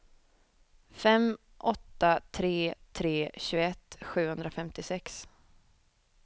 fem åtta tre tre tjugoett sjuhundrafemtiosex